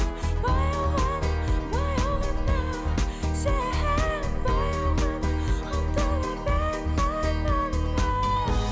баяу ғана баяу ғана сен баяу ғана ұмтыла бер арманыңа